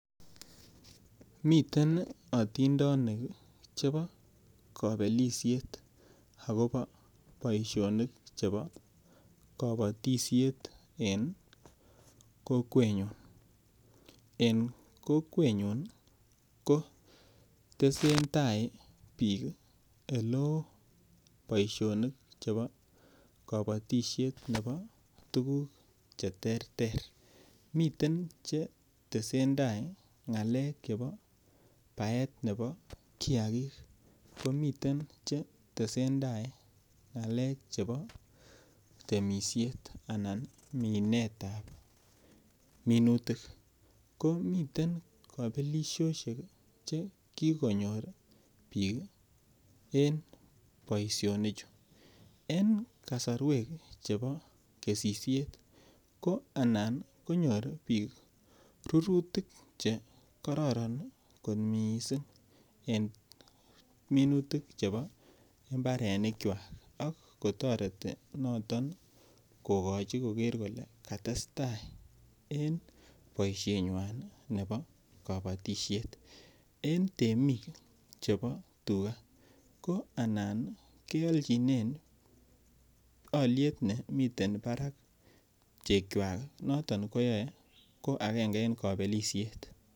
Miten atindindinik chebo kabelisiet akobo boisionik chebo kabatisiet eng kokwenyun, en kokwenyun kotesen tai biik chebo kabatisiet ne botukuk cheterter, miten chetesen tai ng'alek chebo baetab kiaki, komitren chetsen tai ng'alek chebo temisiet anan minetab minutik komiten kabelisiosiek chekikonyor biik en boisinichu en kasorwek chepo kesisiet ko anan konyor biik rurutik chekororon kot miissing en minutik chebo mbarenikchwak ak kotoreti noto kokochi koker kole katestaa en boisienywan ne bo kabatisiet en temik chebo tuka ko anan kealchinen alyet nemiten parak chekchwak noto koyoe akenge en kabelisiet.